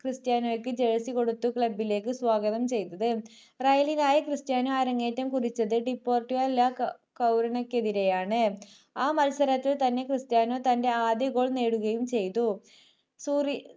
ക്രിസ്റ്റിയാനോക്ക് jersey കൊടുത്തു club ലേക്ക് സ്വാഗതം ചെയ്തത് royal ക്രിസ്ത്യാനോ അരങ്ങേറ്റം കുറിച്ചത് ഡിഫോൾട്ട് വെല്ല കൗരണക്ക് എതിരെയാണ് ആ മത്സരത്തിൽ തന്നെ ക്രിസ്റ്റിയാനോ തന്റെ ആദ്യ goal നേടുകയും സോറി